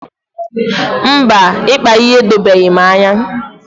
Mba, ịkpa ihe edobeghị m anya.